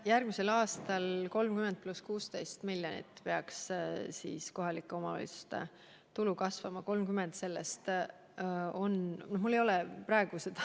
Järgmisel aastal peaks kohalike omavalitsuste tulu kasvama 30 + 16 miljonit eurot.